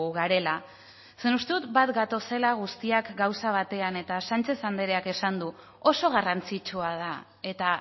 garela zeren uste dut bat gatozela guztiak gauza batean eta sánchez andreak esan du oso garrantzitsua da eta